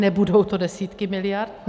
Nebudou to desítky miliard.